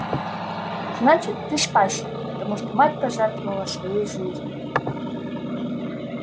значит ты спасся потому что мать пожертвовала своей жизнью